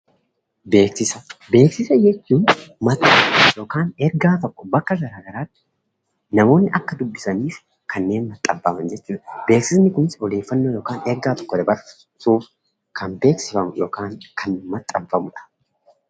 Beeksisa jechuun maxxansa yookaan ergaa tokko bakka garaa garaatti namoonni akka dubbisaniif kanneen maxxanfaman jechuudha. Beeksisni kunis odeeffannoo yookaan ergaa tokko dabarsuuf kan beeksifamu yookaas kan maxxanfamudha.